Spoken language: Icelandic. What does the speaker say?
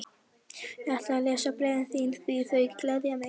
Ég ætla að lesa bréfin þín því þau gleðja mig.